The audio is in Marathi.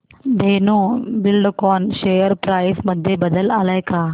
धेनु बिल्डकॉन शेअर प्राइस मध्ये बदल आलाय का